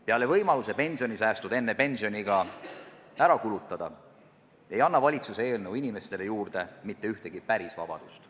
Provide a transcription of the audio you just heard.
Peale võimaluse pensionisäästud enne pensioniiga ära kulutada ei anna valitsuse eelnõu inimestele juurde mitte ühtegi päris vabadust.